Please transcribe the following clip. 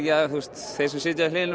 þeir sem sitja við hliðina